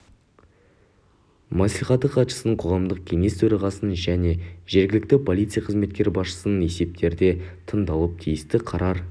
мәслихаты хатшысының қоғамдық кеңес төрағасының және жергілікті полиция қызметі басшысының есептері де тыңдалып тиісті қарар